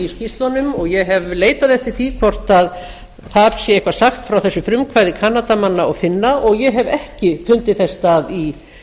skýrslunum og ég hef leitað eftir því hvort þar sé eitthvað sagt frá þessu frumkvæði kanadamanna og finna og ég hef ekki fundið þess stað